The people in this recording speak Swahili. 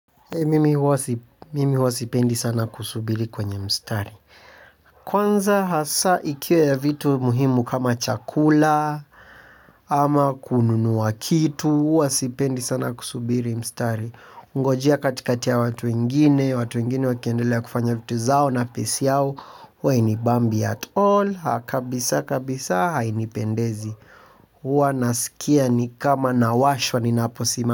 Mimi huwa sipendi sana kusubiri kwenye mstari. Kwanza hasa ikiwa ya vitu muhimu kama chakula ama kununua kitu huwa sipendi sana kusuburi mstari kungojea katikati ya watu ingine, watu wengine wakiendelea kufanya vitu zao na pace yao. Huwa hainibambi at all, kabisa kabisa hainipendezi huwa nasikia nikama nawashwa ninaposimama.